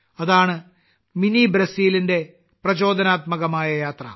അതാണ് മിനി ബ്രസീലിന്റെ പ്രചോദനാത്മകമായ യാത്ര